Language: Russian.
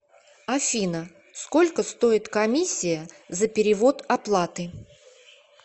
афина сколько стоит комиссия за перевод оплаты